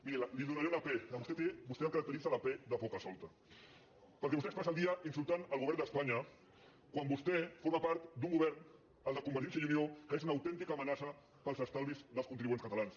miri li donaré una pe a vostè el caracteritza la pe de pocasolta perquè vostè es passa el dia insultant el govern d’espanya quan vostè forma part d’un govern el de convergència i unió que és una autèntica amenaça per als estalvis dels contribuents catalans